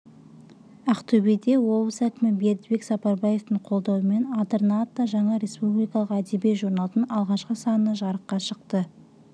ақтөбеде облыс әкімі бердібек сапарбаевтың қолдауымен адырна атты жаңа республикалық әдеби журналдың алғашқы саны жарыққа шықты